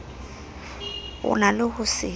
o na le ho se